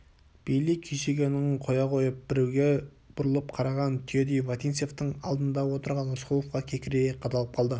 бейли күйсегенін қоя қойып біреуге бұрылып қараған түйедей вотинцевтің алдында отырған рысқұловқа кекірейе қадалып қалды